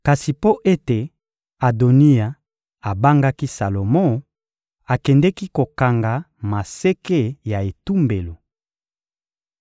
Kasi mpo ete Adoniya abangaki Salomo, akendeki kokanga maseke ya etumbelo.